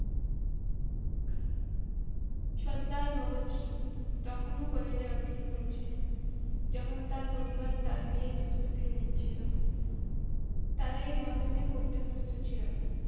সর্দারভগৎ সিং তখনো college এ অধ্যায়ন করছিলেন যখন তার পরিবার তার বিয়ের প্রস্তুতি নিচ্ছিলো তারা এই বন্ধনে পড়তে প্রস্তুত ছিল না